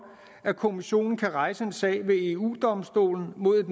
at kommissionen kan rejse en sag ved eu domstolen mod